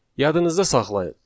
Yadınızda saxlayın.